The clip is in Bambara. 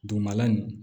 Dugumala in